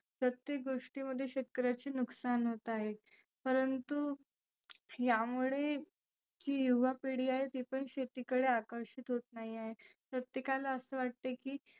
प्रत्येक गोष्टीमध्ये शेतकऱ्याचे नुकसान होत आहे. परंतु यामुळे जी युवा पिढी आहे ती पण शेती कडे आकर्षीत होत नाही आहे. प्रत्येकाला असं वाटतं की